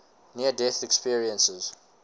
near death experiences